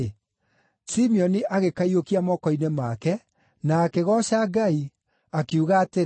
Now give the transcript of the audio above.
Simeoni agĩkaiyũkia moko-inĩ make na akĩgooca Ngai, akiuga atĩrĩ: